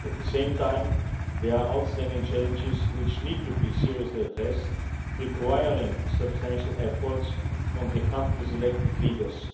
At the same time, there are outstanding challenges which need to be seriously addressed, requiring substantial efforts from the country's elected leaders.